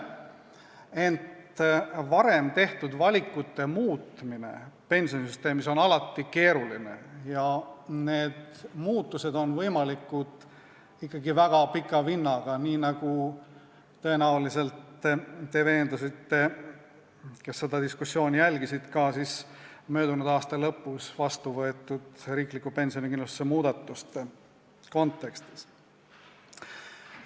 Ent varem tehtud valikute muutmine on pensionisüsteemis alati keeruline ja need muutused on võimalikud ikkagi väga pika vinnaga, nagu te tõenäoliselt veendusite, kui jälgisite diskussiooni, mis peeti möödunud aasta lõpus vastu võetud riikliku pensionikindlustuse muudatuste kontekstis.